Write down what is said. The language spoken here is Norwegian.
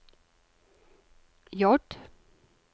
J